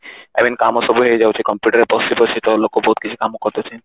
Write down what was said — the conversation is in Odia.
I mean କାମ ସବୁ ହେଇଯାଉଛି computer ରେ ବସି ବସି ତ ଲୋକ ବହୁତ କିଛି କାମ କରି ଦଉଛନ୍ତି